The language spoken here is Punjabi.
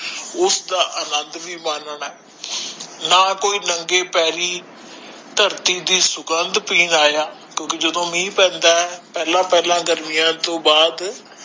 ਉਸਦਾ ਆਨੰਦ ਵੀ ਮਾਨ ਨਾ ਨਾ ਕੋਇ ਨੰਗੇ ਪੈਰੀ ਧਰਤੀ ਦੇ ਸੁਗੰਧ ਪਿੰਨ ਆਯਾ ਕਿਉਕਿ ਜਦੋ ਮਹਿ ਪੈਂਦਾ ਪਹਿਲਾ ਪਹਿਲਾ ਗਰਮੀਆਂ ਤੋਂ ਬਾਦ